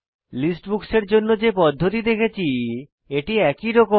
list books এর জন্য যে পদ্ধতি দেখেছি এটি একই রকম